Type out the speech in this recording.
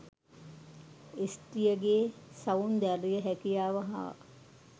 ස්ත්‍රියගේ සෞන්දර්ය හැකියාව හා